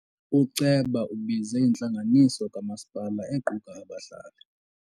Uceba ubize intlanganiso kamasipala equka abahlali.